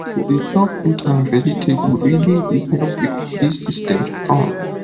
to dey chop fruit and vegetable really dey help your body system strong